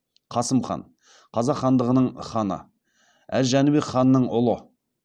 қасым хан қазақ хандығының ханы әз жәнібек ханның ұлы